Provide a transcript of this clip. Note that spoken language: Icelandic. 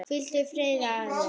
Hvíldu í friði, afi minn.